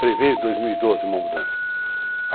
Prevê em 2012 uma mudança.